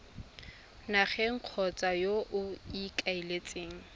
nageng kgotsa yo o ikaeletseng